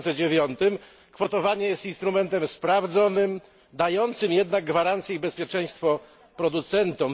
2009. Kwotowanie jest instrumentem sprawdzonym, dającym gwarancje i bezpieczeństwo producentom.